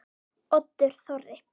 Oddur Þorri.